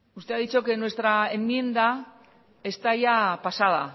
usted ha dicho que nuestra enmienda está ya pasada